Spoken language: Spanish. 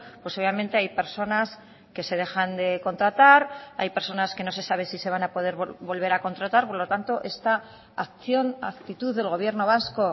pues obviamente hay personas que se dejan de contratar hay personas que no se sabe si se van a poder volver a contratar por lo tanto está acción actitud del gobierno vasco